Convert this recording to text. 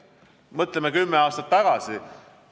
Mõtleme aega kümme aastat tagasi!